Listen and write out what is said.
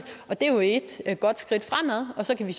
det er jo et godt skridt fremad og så kan vi